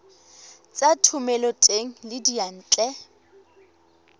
tsa thomeloteng le tsa diyantle